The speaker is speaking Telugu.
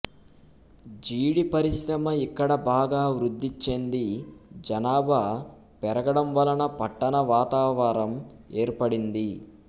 జీడి పరిశ్రమ ఇక్కడ బాగా వృద్దిచెంది జనాభా పెరగడంవలన పట్టణ వాతావరం ఏర్పడింది